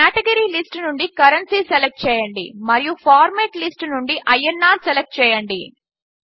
category list నుండి currency select చేయండి మరియు ఫార్మాట్ లిస్ట్ నుండి ఐఎన్ఆర్ సెలెక్ట్ చేయండి